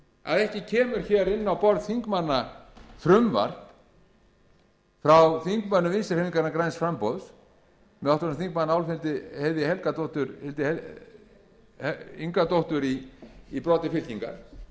að ekki kemur hér inn á borð þingmann frumvarp frá þingmönnum vinstri hreyfingarinnar græns framboðs með háttvirtum þingmanni álfheiði ingadóttur í broddi fylkingar